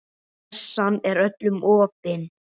Messan er öllum opin.